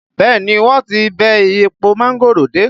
Bẹẹ ni, wọ́n ti bẹ́ èpo mángòrò dé